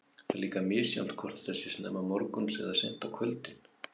Það er líka misjafnt hvort þetta sé snemma morguns eða seint á kvöldin.